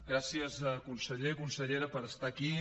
gràcies conseller consellera per estar aquí